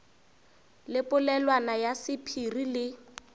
le polelwana ya sephiri le